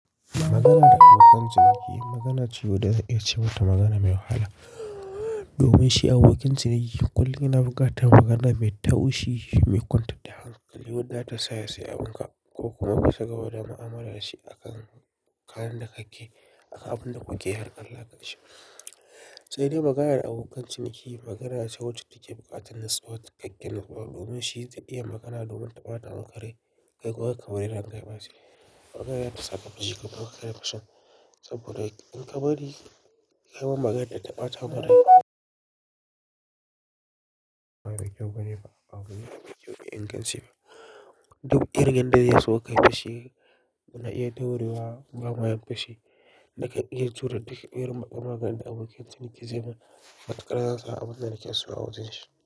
Magana da abokan ciniki magana ce wadda za a ce mata magana mai wahala. Domin shi abokin ciniki kullum yana bugata magana mai taushi mai kwantar da hankali wadda ta sa ya sayi abin ka ko kuma ya sakewa da mu'amala shi akan kayan da kake, akan abunda kuke har Allah yasa shi. Sai dai magayar da abokan ciniki magana ce wacce take buƙatar nasu wata ƙaƙƙen rubutu. Domin shi zai iya magana domin ta ɓata wa kare kai ko haka bari rangar ba shi. Magana ta sa ka fashi ka buga kare fashi saboda in ka bari kayi wa maganar ta ɓata marai ba kyau bane ba, abu ne mai kyau in kashe ba. Duk ƙirgen da zai so ka yi fashi, muna iya daurewa ga wayan fashi. Naka iya tura duk ƙirar maganar da abokin ciniki zai ma, matkar zasu a abun da nake so a wajen shi.